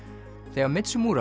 þegar